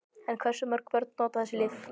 En hversu mörg börn nota þessi lyf?